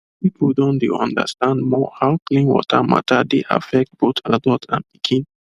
people don dey understand more how clean water matter dey affect both adult and pikin